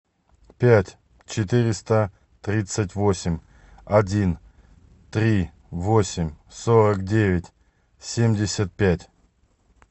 пять четыреста тридцать восемь один три восемь сорок девять семьдесят пять